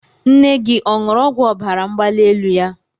Nne gị ọ̀ ṅuru ọgwụ ọbara mgbali elu ya?